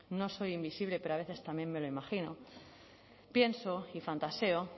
no soy invisible pero a veces también me lo imagino pienso y fantaseo